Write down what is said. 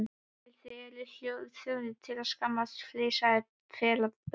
En þið þið eruð þjóðinni til skammar, flissandi pelabörn.